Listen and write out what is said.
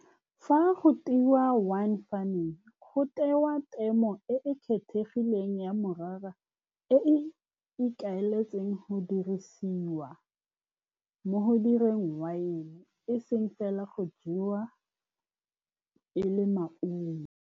Fa go twe wine farming, go tewa temo e e kgethegileng ya morara e e ikaeletseng go dirisiwa mo go direng wine, e seng fela go jewa e le maungo.